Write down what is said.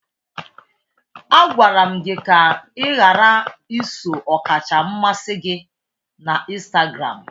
Agwara m gị ka ị ghara iso ọkacha mmasị gị na Instagramu!